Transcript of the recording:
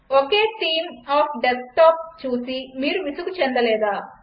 okay theme of desktop చూసి మీరు విసుగు చెందలేదా